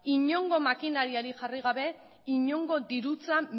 inongo makinariarik jarri gabe inongo dirutza